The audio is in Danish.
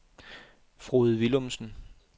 Frode Willumsen